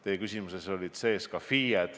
Teie küsimuses olid sees ka FIE-d.